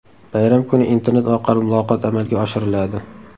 Bayram kuni internet orqali muloqot amalga oshiriladi.